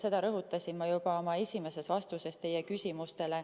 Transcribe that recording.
Seda rõhutasin ma juba oma esimeses vastuses.